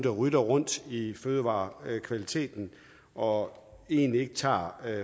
roder rundt i fødevarekvaliteten og egentlig ikke tager